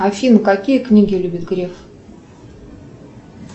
афина какие книги любит греф